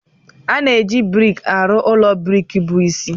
A na-eji brik arụ ụlọ brik bụ isi.